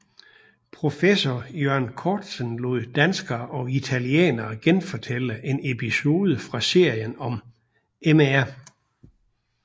Professor Iørn Korzen lod danskere og italienere genfortælle en episode fra serien om Mr